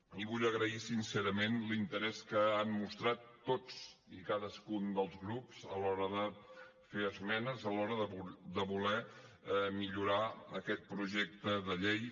i vull agrair sincerament l’interès que han mostrat tots i cadascun dels grups a l’hora de fer esmenes a l’hora de voler millorar aquest projecte de llei